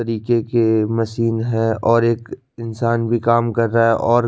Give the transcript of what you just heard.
तरीके के मशीन हैं और एक इंसान भी काम कर रहा है और--